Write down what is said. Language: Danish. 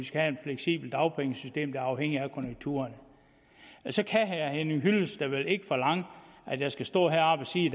fleksibelt dagpengesystem der er afhængigt af konjunkturerne så kan herre henning hyllested vel ikke forlange at jeg skal stå heroppe og sige